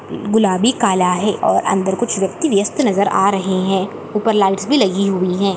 गुलाबी काला है और अंदर कुछ व्यक्ति बयास्त नजर आ रहे है और ऊपर लाइट्स भी लगी हुई है ।